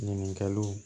Ɲininkaliw